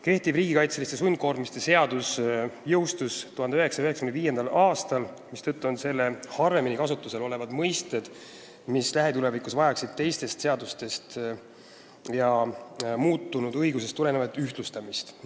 Kehtiv riigikaitseliste sundkoormiste seadus jõustus 1995. aastal, mistõttu on selles harvemini kasutusel olevad mõisted, mis lähitulevikus vajaksid teistest seadustest ja muutunud õigusest tulenevat ühtlustamist.